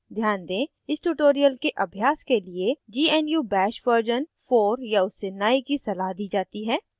ध्यान दें इस tutorial के अभ्यास के लिए gnu bash version 4 या उससे नए की सलाह दी जाती है